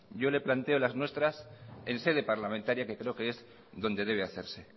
yo le planteo las nuestras en sede parlamentaria que creo que es donde debe hacerse